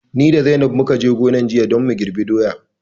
Ni da zainab mukaje gonar jiya don mu girɓi doya